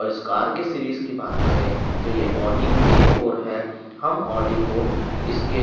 और इस कार के सीरीज की बात करें तो यह ऑडी ए फोर है हम ऑडी को इसके--